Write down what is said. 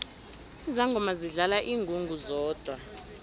izangoma zidlala ingungu zodwa